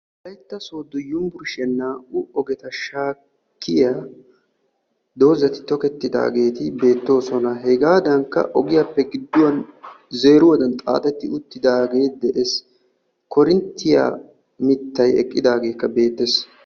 Wolaytta Sodo yunbburshiyan naa"u ogeta shakkiyaa doozati tokkettidaageeti beettoosona. Hegadankka ogiyaappe gidduwan zeeruwaddan xaaxi uttidaagekka de'ees. Koorinttiya mittay eqqidaageekka beettees.